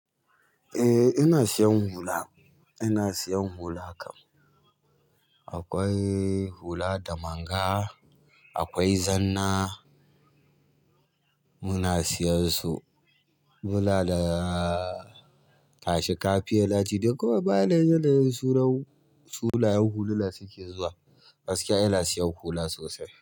Eh ina siyan hula. Ina siyan hula kam. Akwai hula da manga, akwai zanna muna siyan su. Muna da kashi kafiyelati duk wani baya lauyan sunan sunayen hulana suke zuwa. Gaskiya ina siyan hula sosai.